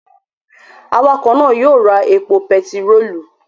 Awakọ̀ náà yóò ra epo pẹtirólù